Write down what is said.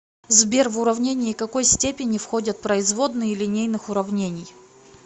сбер в уравнение какой степени входят производные линейных уравнений